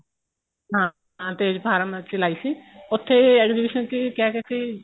ਹਾਂ ਤੇਜ ਫਾਰਮ ਅਸੀਂ ਲਾਈ ਸੀ ਉੱਥੇ exhibition ਚ ਕਿਆ ਕਿਹਾ ਸੀ